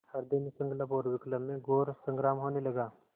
हृदय में संकल्प और विकल्प में घोर संग्राम होने लगा